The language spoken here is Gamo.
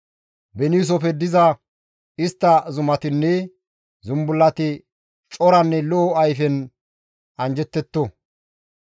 Beniisofe diza istta zumatinne zumbullati coranne lo7o ayfen anjjettetto.